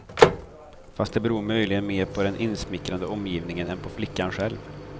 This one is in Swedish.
Fast det beror möjligen mer på den insmickrande omgivningen än på flickan själv.